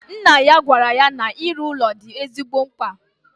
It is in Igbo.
Nna ya gwara ya na iru ụlọ di ezigbo mkpa